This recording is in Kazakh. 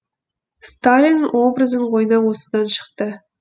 сталин образын ойнау осыдан шықты